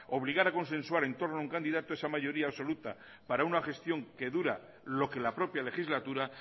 obligar a consensuar entorno a un candidato esa mayoría absoluta para una gestión que dura lo que la propia legislatura